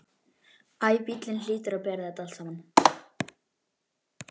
Æ, bíllinn hlýtur að bera þetta allt saman.